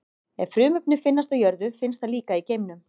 Ef frumefni finnst á jörðu, finnst það líka í geimnum.